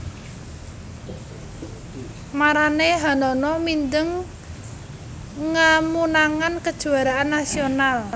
Maranéhanana mindeng ngameunangan kejuaraan nasional